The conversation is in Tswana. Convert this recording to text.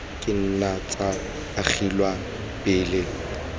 ka nna tsa agelwa pele